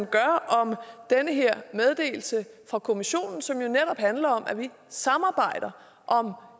gør om den her meddelelse fra kommissionen som netop handler om at vi samarbejder om